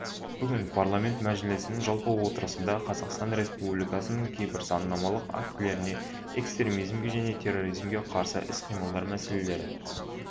бүгін парламенті мәжілісінің жалпы отырысында қазақстан республикасының кейбір заңнамалық актілеріне экстремизмге және терроризмге қарсы іс-қимыл мәселелері